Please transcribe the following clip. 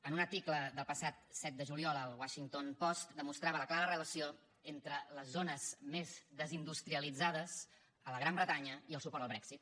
en un article del passat set de juliol el washington post demostrava la clara relació entre les zones més desindustrialitzades a la gran bretanya i el suport al brexit